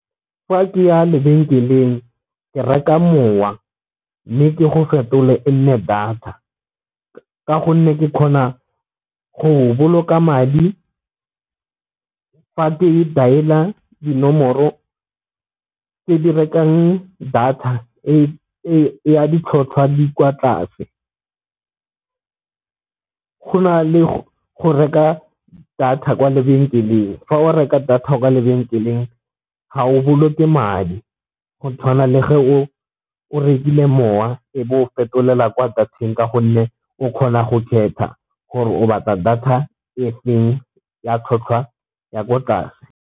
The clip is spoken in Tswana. Fa ke ya lebenkeleng ke reka mowa mme ke go fetola e nne data, ka gonne ke kgona go boloka madi ke e dialer dinomoro tse di rekang data e ya ditlhotlhwa di kwa tlase go na le go reka data kwa lebenkeleng. Fa o reka data ya kwa ga o boloke madi go tshwana le ge o o rekile mowa e be o fetolela kwa data-ng ka gonne o kgona go kgetha gore o batla data e feng ya tlhotlhwa ya ko tlase.